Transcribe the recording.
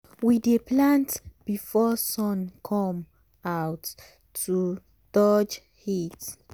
we dey plant before sun come out to dodge heat.